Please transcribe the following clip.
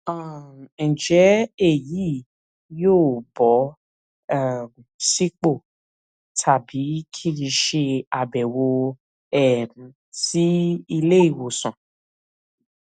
um ǹjẹ èyí yóò bọ um sípò tàbí kí n ṣe àbẹwò um sí iléìwòsàn